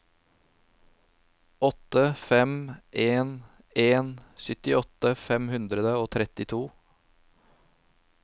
åtte fem en en syttiåtte fem hundre og trettito